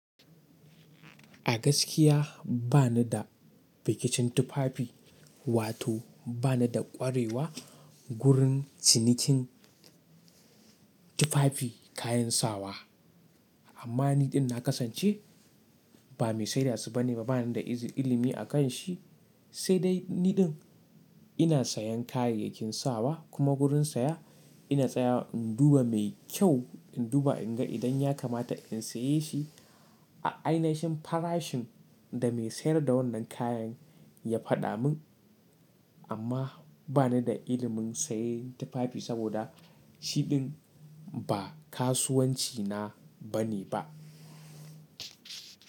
A gaskiya ba ni da bikicin tufafi wato ba ni da ƙwarewa gurin cinikin tufafi kayan sawa. Amma niɗin na kasance ba mai sai da su bane, bani da izi ilimi akan shi, sai dai niɗin ina sayan kayayyakin sawa kuma gurin saya ina tsayawa in duba mai kyau in duba in ga idan ya kamata in saye shi a a ainishin farashin da mai sayar da wannan kayan ya faɗa mun. Amma ba ni da ilimin sayen tufafi saboda shiɗin ba kasuwanci na bane ba.